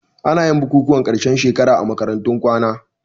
Anayin bukukuwan ƙarshen shekara a makarantun kwana